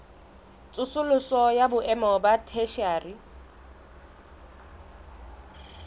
tsosoloso ya boemo ba theshiari